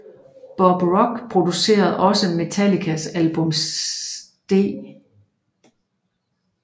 Bob Rock producerede også Metallicas album St